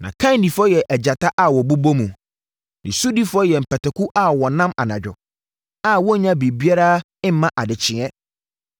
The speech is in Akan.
Nʼakandifoɔ yɛ agyata a wɔbobɔ mu, ne sodifoɔ yɛ mpataku a wɔnam anadwo, a wɔnnya biribiara mma adekyeɛ.